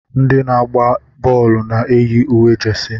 Ndị na-agba bọọlụ na-eyi uwe jesi.